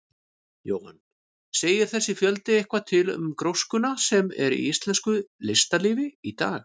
Jóhann: Segir þessi fjöldi eitthvað til um gróskuna sem er í íslensku listalífi í dag?